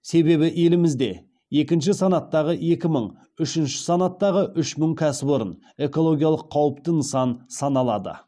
себебі елімізде екінші санаттағы екі мың үшінші санаттағы үш мың кәсіпорын экологиялық қауіпті нысан саналады